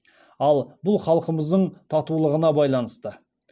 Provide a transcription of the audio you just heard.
ал бұл халқымыздың татулығына байланысты